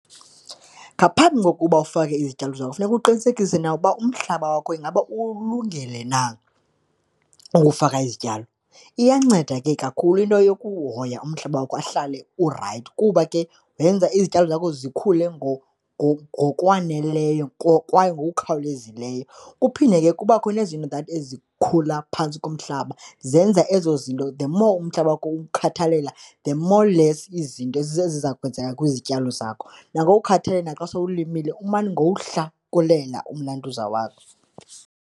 Ngaphambi kokuba ufake izityalo zakho funeka uqinisekise na ukuba umhlaba wakho ingaba uwulungele na ukufaka izityalo. Iyanceda ke kakhulu into yokuhoya umhlaba wakho ahlale urayithi kuba ke yenza izityalo zakho zikhule ngokwaneleyo kwaye ngokukhawulezileyo. Kuphinde ke kubakho nezinto that ezikhula phantsi komhlaba zenza ezo zinto the more umhlaba wakho uwukhathalele, the more less izinto eziza kwenzeka kwizityalo zakho. Nangokuwukhathalela naxa sowulimile, umane uwuhlakulela umnanduza wakho.